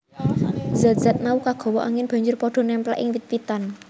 Zat zat mau kagawa angin banjur pada némplèk ing wit witan